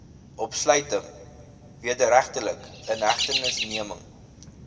opsluiting wederregtelike inhegtenisneming